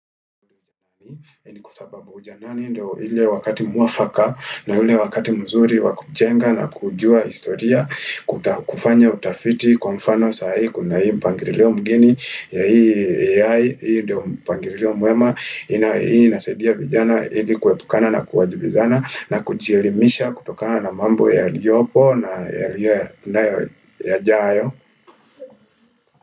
Ni kwa sababu ujanani ndio ile wakati mwafaka na ile wakati mzuri wakujenga na kujua historia kufanya utafiti kwa mfano saa hii kuna hii mpangirilio mgeni ya hii ya hii ndio mpangirio mwema inasaidia vijana hili kuepukana na kuwajibizana na kujielimisha kutokana na mambo yaliopo na yajayo.